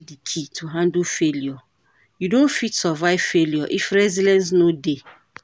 Resilience be di key to handle failure, you no fit survive failure if resilience no dey.